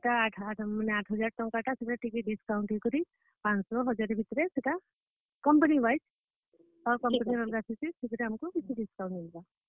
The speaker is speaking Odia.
ବେଲେ ସେଟା ମାନେ ଆଠ ହଜାର ଟଙ୍କା ଟା ଟିକେ discount ହେଇକରି ପାଞ୍ଚ ଶହ, ହଜାରେ ଭିତରେ ସେଟା, company wise ସେଥିରେ ଆମକୁ କିଛି discount ମିଲବା।